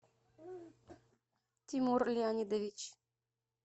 тимур леонидович